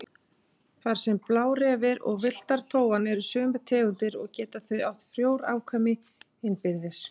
Þar sem blárefir og villta tófan eru sömu tegundar geta þau átt frjó afkvæmi innbyrðis.